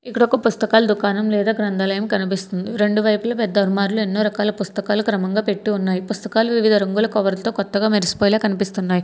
ఇక్కడకు పుస్తకాలు దుకాణం లేదా గ్రంథాలయం కనిపిస్తుంది రెండు వైపులా పెద్ద అలమారాలు ఎన్నో రకాల పుస్తకాలు క్రమంగా పెట్టి ఉన్నాయి పుస్తకాలు వివిధ రంగుల కవర్ల తో కొత్తగా మెరిసిపోయేలా కనిపిస్తున్నాయి.